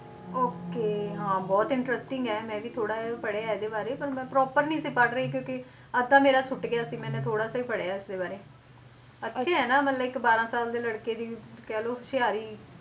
Okay ਹਾਂ ਬਹੁਤ interesting ਹੈ ਮੈਂ ਵੀ ਥੋੜ੍ਹਾ ਜਿਹਾ ਪੜ੍ਹਿਆ ਹੈ ਇਹਦੇ ਬਾਰੇ ਪਰ ਮੈਂ proper ਨੀ ਸੀ ਪੜ੍ਹ ਰਹੀ ਕਿਉਂਕਿ ਅੱਧਾ ਮੇਰਾ ਸੁੱਟ ਗਿਆ ਸੀ ਮੈਨੇ ਥੋੜ੍ਹਾ ਜਿਹਾ ਹੀ ਪੜ੍ਹਿਆ ਇਸਦੇ ਬਾਰੇ, ਅੱਛਾ ਹੈ ਨਾ ਮਤਲਬ ਇੱਕ ਬਾਰਾਂ ਸਾਲ ਦੇ ਲੜਕੇ ਦੀ ਕਹਿ ਲਓ ਹੁਸ਼ਿਆਰੀ,